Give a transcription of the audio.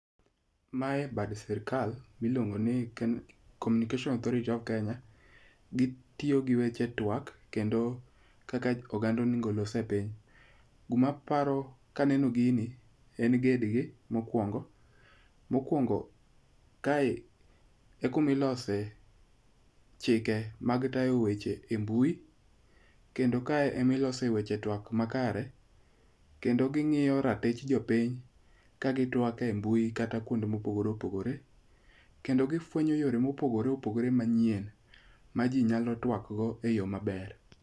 Mae bad sirkal miluongo ni Communication Authority of Kenya. Gitiyo gi weche twak kendo kaka oganda onego los e piny. Gumaparo kaneno gini en ged gi mokwongo. Mokwongo kae e kumilose chike mag tayo weche e mbui. Kendo kae emilose weche twak makare. Kendo ging'iyo ratich jopiny ka gi twak e mbui kata kuonde mopogore opogore. Kendo gifwenyo yore mopogore opogore manyien ma ji nyalo twak go eyo m aber.